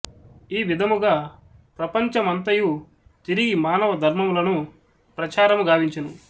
ఈ విధముగ ప్రపంచం మంతయు తిరిగి మానవ ధర్మములను ప్రచారము గావించెను